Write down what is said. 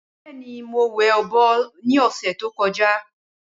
Bẹẹni mo wẹ ọbọ ni ọsẹ to kọja